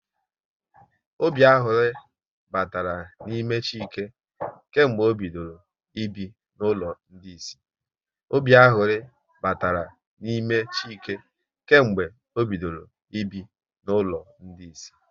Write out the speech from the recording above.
Obi aṅụrị batara n'ime Chike kemgbe ọ bidoro ibi n'ụlọ ndị Ịsị